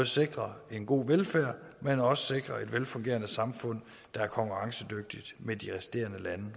sikre en god velfærd men også sikre et velfungerende samfund der er konkurrencedygtigt med de resterende lande